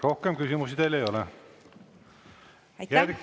Rohkem küsimusi teile ei ole.